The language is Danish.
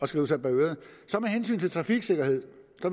skrive sig bag øret med hensyn til trafiksikkerhed